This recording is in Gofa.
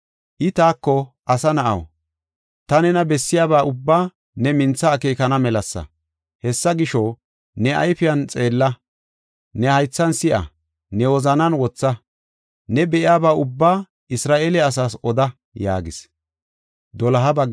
I taako, “Asa na7aw, ta nena ha bessaa ehiday ta nena bessiyaba ubbaa ne mintha akeekana melasa. Hessa gisho, ne ayfiyan xeella; ne haythan si7a; ne wozanan wotha. Ne be7iyaba ubbaa Isra7eele asaas oda” yaagis.